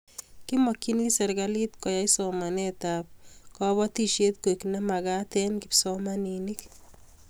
Kimakchini serikalit koyai somanet ab batishet koek ne magat eng' kipsomanik